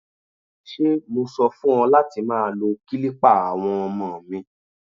Ṣé mo sọ fún ọ láti má lo kilipa àwọn ọmọ mi?